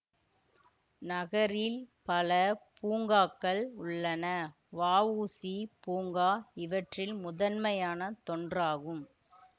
நகரில் பல பூங்காக்கள் உள்ளன வ உ சி பூங்கா இவற்றில் முதன்மையான தொன்றாகும்